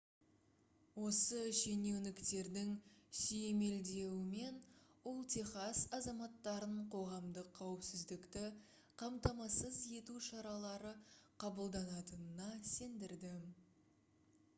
осы шенеуніктердің сүйемелдеуімен ол техас азаматтарын қоғамдық қауіпсіздікті қамтамасыз ету шаралары қабылданатынына сендірді